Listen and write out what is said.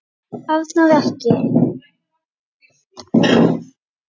Arnar. ekki!